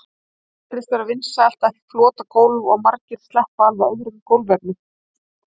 Það virðist vera vinsælt að flota gólf og margir sleppa alveg öðrum gólfefnum.